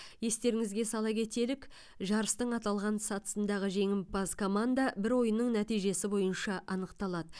естеріңізге сала кетелік жарыстың аталған сатысындағы жеңімпаз команда бір ойынның нәтижесі бойынша анықталады